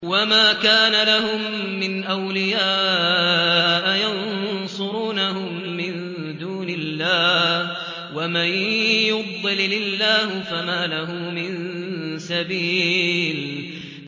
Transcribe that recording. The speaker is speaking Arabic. وَمَا كَانَ لَهُم مِّنْ أَوْلِيَاءَ يَنصُرُونَهُم مِّن دُونِ اللَّهِ ۗ وَمَن يُضْلِلِ اللَّهُ فَمَا لَهُ مِن سَبِيلٍ